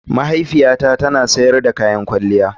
Mahaifiyata tana sayar da kayan kwalliya.